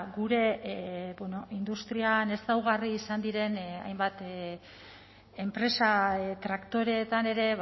gure industrian ezaugarri izan diren hainbat enpresa traktoreetan ere